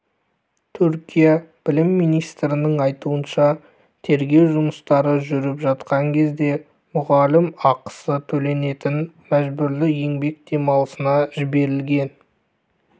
түркия білім министрінің айтуынша тергеу жұмыстары жүріп жатқан кезде мұғалім ақысы төленетін мәжбүрлі еңбек демалысына жіберілген